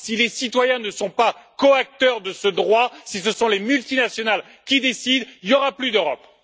Si les citoyens ne sont pas coacteurs de ce droit et que ce sont les multinationales qui décident, il n'y aura plus d'Europe.